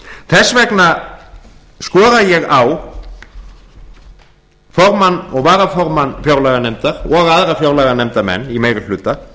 þess vegna skora ég á formann og varaformann fjárlaganefndar og aðra fjárlaganefndarmenn í meiri hluta